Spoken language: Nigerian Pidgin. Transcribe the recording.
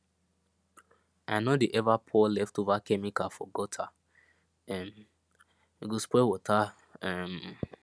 i no dey ever pour leftover chemical for gutter [um]e go spoil water um